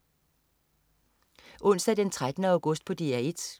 Onsdag den 13. august - DR 1: